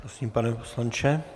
Prosím, pane poslanče.